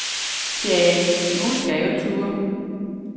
Tja, nogle skal jo turde.